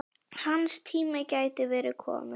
Hans tími gæti verið kominn.